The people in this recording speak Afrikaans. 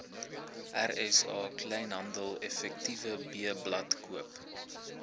rsa kleinhandeleffektewebblad koop